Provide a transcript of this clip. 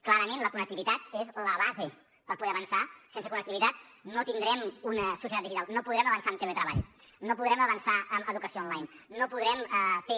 clarament la connectivitat és la base per poder avançar sense connectivitat no tindrem una societat digital no podrem avançar en teletreball no podrem avançar en educació online no podrem fer